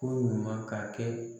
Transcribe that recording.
Ko ɲuman ka kɛ